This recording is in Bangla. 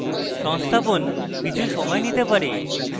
সংস্থাপন কিছু সময় নিতে পারে